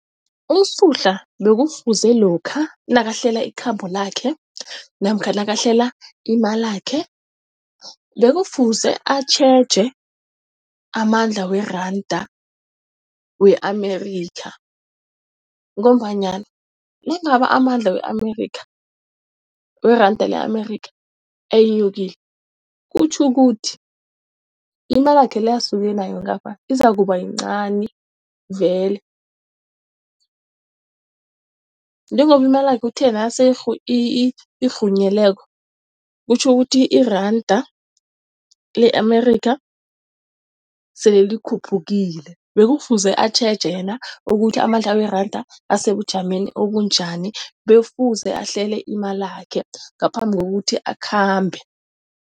USuhla bekufuze lokha nakahlela ikhambo lakhe namkha nakahlele imalakhe, bekufuze atjheje amandla weranda we-Amerika ngombanyana nangabe amandla we-Amerika weranda le-Amerika eyenyukile kutjho ukuthi, imalakhe le asuke nayo ngapha izakuba yincani vele. Njengoba imalakhe uthe nasele isirhunyezo kutjho ukuthi, iranda le-Amerika sele likhuphukile. Bekufuze atjheje yena ukuthi amandla weranda asebujameni obunjani, bekufuze ahlele imalakhe ngaphambi kokuthi akhambe.